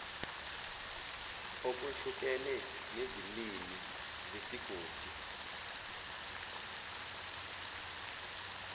okwehlukene nezilimi zesigodi